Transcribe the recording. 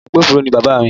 Agbófinró ni Bàbá mi